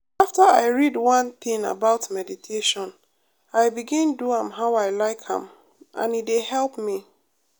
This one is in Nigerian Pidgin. after i read one thing about meditation i begin do am how i like am and e dey help me.